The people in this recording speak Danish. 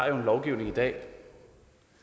er ret og rimeligt at